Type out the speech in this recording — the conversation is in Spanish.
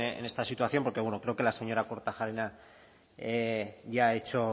en esta situación porque bueno creo que la señora kortajarena ya ha hecho